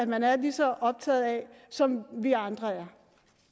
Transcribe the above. man er lige så optaget af som vi andre